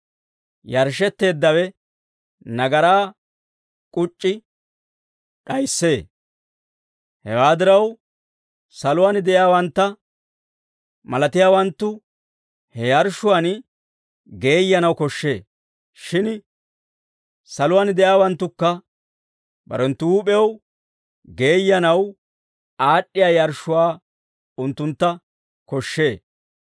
Hewaa diraw, saluwaan de'iyaawantta malatiyaawanttu he yarshshuwaan geeyyanaw koshshee; shin saluwaan de'iyaawanttukka barenttu huup'ew geeyyanaw aad'd'iyaa yarshshuwaa unttuntta koshshee.